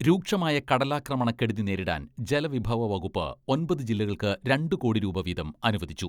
രൂക്ഷമായ കടലാക്രമണ കെടുതി നേരിടാൻ ജലവിഭവ വകുപ്പ് ഒമ്പത് ജില്ലകൾക്ക് രണ്ടുകോടി രൂപ വീതം അനുവദിച്ചു.